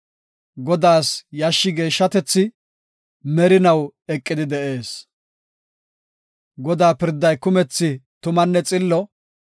Godaas yashshi geeshshi; merinaw eqidi de7ees. Godaa pirday kumethi tumanne xillo.